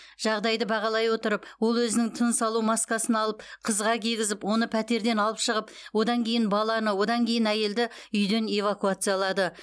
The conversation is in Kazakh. жағдайды бағалай отырып ол өзінің тыныс алу маскасын алып қызға кигізіп оны пәтерден алып шығып одан кейін баланы одан кейін әйелді үйден эвакуациялады